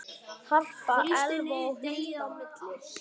Harpa, Elfa og Hulda.